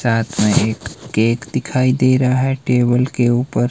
साथ में एक केक दिखाई दे रहा है टेबल के ऊपर--